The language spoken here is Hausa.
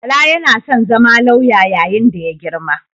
Bala yana son zama lauya yayin da ya girma.